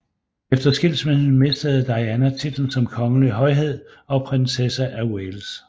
Efter skilsmissen mistede Diana titlen som kongelig højhed og prinsesse af Wales